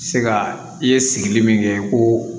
Se ka i ye sigili min kɛ koo